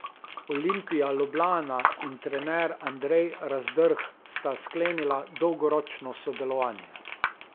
Olimpija Ljubljana in trener Andrej Razdrh sta sklenila dolgoročno sodelovanje.